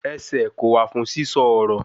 Ẹsẹ̀ kò wà fún sísọ ọ̀rọ̀